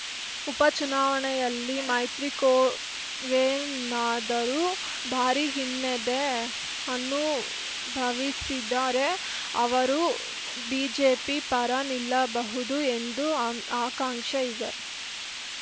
ಉಪ ಚುನಾವಣೆಯಲ್ಲಿ ಮೈತ್ರಕೂವೇನಾದರೂ ಭಾರಿ ಹಿನ್ನಡೆ ಅನುಭವಿಸಿದರೆ ಅವರು ಬಿಜೆಪಿ ಪರ ನಿಲ್ಲಬಹುದು ಎಂದು ಆಕಾಂಕ್ಷೆ ಇದೆ